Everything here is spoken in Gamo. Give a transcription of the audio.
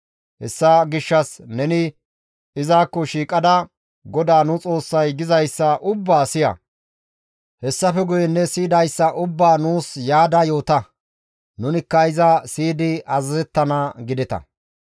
Hessa gishshas neni izakko shiiqada GODAA nu Xoossay gizayssa ubbaa siya; hessafe guye ne siyidayssa ubbaa nuus yaada yoota; nunikka iza siyidi azazettana› gideta.